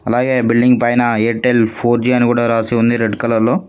అలాగే బిల్డింగ్ పైన Airtel four G అని కూడా రాసి ఉంది రెడ్ కలర్లో .